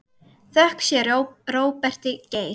Þökk sé Róberti Geir.